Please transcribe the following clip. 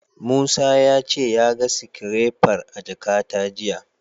Musa ya ce ya ga sikirefar a jakata jiya.